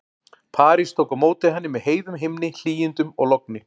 París tók á móti henni með heiðum himni, hlýindum og logni.